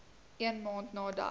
een maand nadat